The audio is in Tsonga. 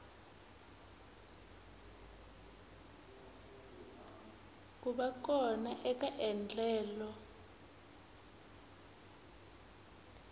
ku va kona eka endlelo